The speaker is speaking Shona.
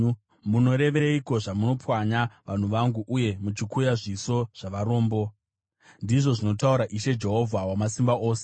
Munoreveiko zvamunopwanya vanhu vangu, uye muchikuya zviso zvavarombo?” ndizvo zvinotaura Ishe Jehovha Wamasimba Ose.